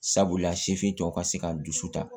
Sabula sifin tɔw ka se ka dusu ta